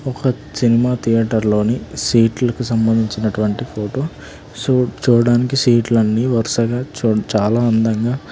ఒక cinema theatre లోని seat లకు సంబందించినటువంటి ఫోటొ సు-చూడ్డానికి సీట్ లన్ని వరుసగా చు--చాలా అందంగా--